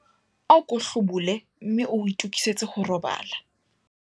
Ako hlobole mme o itokisetse ho robala.